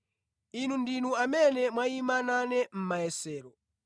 Inu ndinu amene mwayima nane mʼmayesero.